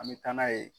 An bɛ taa n'a ye